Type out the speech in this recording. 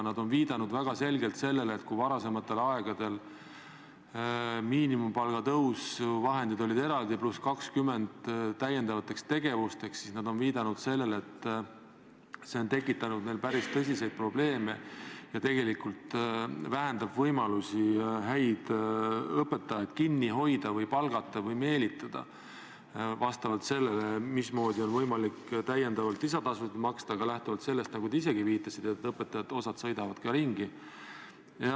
Nad on viidanud väga selgelt sellele, et kui varasematel aegadel miinimumpalga tõusu vahendid olid eraldi, pluss 20% täiendavateks tegevusteks, siis see on tekitanud päris tõsiseid probleeme ja tegelikult vähendab võimalusi häid õpetajaid kinni hoida või palgata või tööle meelitada, vastavalt sellele, mismoodi on võimalik täiendavalt lisatasusid maksta, ka lähtuvalt sellest, nagu te isegi viitasite, et osa õpetajaid sõidab ka ringi.